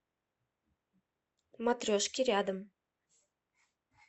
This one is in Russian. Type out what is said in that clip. матрешки рядом